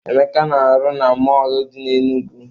Emeka na-arụ na mọọlụ dị n'Enugwu.